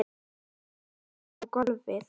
Hendum okkur á gólfið.